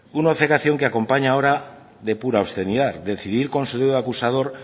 una obcecación que acompaña ahora de pura obscenidad decidir con su dedo acusador